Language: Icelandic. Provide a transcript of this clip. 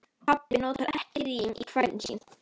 Pabbi notar ekki rím í kvæðin sín.